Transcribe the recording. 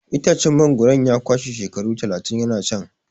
Itacen mangwaro ya kwashe shekaru talatin yana can.